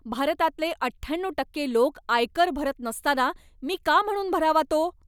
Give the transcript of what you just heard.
भारतातले अठ्ठ्याण्णऊ टक्के लोक आयकर भरत नसताना मी का म्हणून भरावा तो?